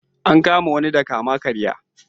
An kama wani dan kama-karya.